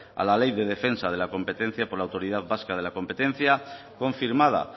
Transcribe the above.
a la ley de defensa de la competencia por la autoridad vasca de la competencia confirmada